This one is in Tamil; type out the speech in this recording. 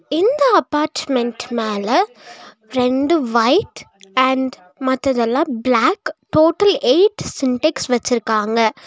இந்த அப்பார்ட்மெண்ட் மேல ரெண்டு வைட் அண்ட் மத்ததெல்லா பிளாக் டோட்டல் எய்ட் சின்டெக்ஸ் வச்சிருக்காங்க.